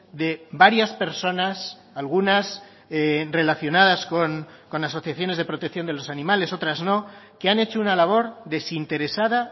de varias personas algunas relacionadas con asociaciones de protección de los animales otras no que han hecho una labor desinteresada